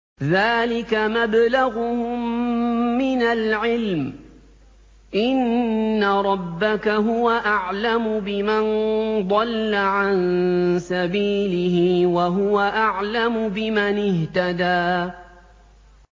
ذَٰلِكَ مَبْلَغُهُم مِّنَ الْعِلْمِ ۚ إِنَّ رَبَّكَ هُوَ أَعْلَمُ بِمَن ضَلَّ عَن سَبِيلِهِ وَهُوَ أَعْلَمُ بِمَنِ اهْتَدَىٰ